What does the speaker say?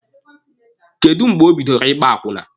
Kedụ mgbe o bidoro ịgba akwụna?